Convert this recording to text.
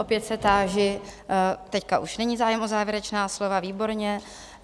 Opět se táži - teď už není zájem o závěrečná slova, výborně.